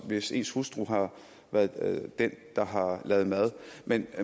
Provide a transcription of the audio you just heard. hvis ens hustru har været den der har lavet mad men